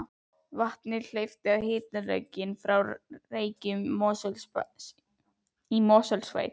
Vatni hleypt á hitalögn frá Reykjum í Mosfellssveit.